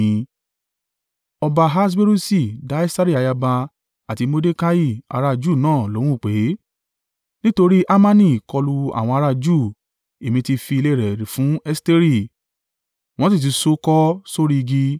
Ọba Ahaswerusi dá Esteri ayaba àti Mordekai ará a Júù náà lóhùn pé, “Nítorí Hamani kọlu àwọn ará a Júù, èmi ti fi ilé e rẹ̀ fún Esteri, wọ́n sì ti ṣo ó kọ́ sórí igi.